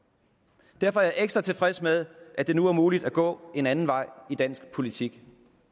derfor er jeg ekstra tilfreds med at det nu er muligt at gå en anden vej i dansk politik